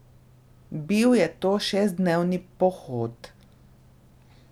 Bil je to šestdnevni pohod.